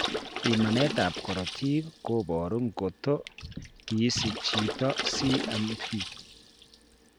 Pimaneet ab korotik kobooru koto kisiche chiito CMV